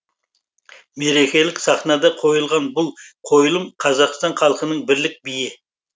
мерекелік сахнада қойылған бұл қойылым қазақстан халқының бірлік биі